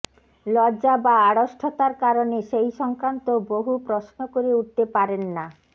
লজ্জা বা আড়ষ্ঠতার কারণে সেই সংক্রান্ত বহু প্রশ্ন করে উঠতে পারেন না